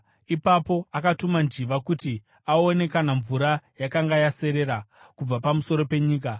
Ipapo akatuma njiva kuti aone kana mvura yakanga yaserera kubva pamusoro penyika.